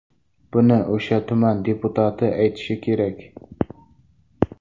Buni o‘sha tuman deputati aytishi kerak.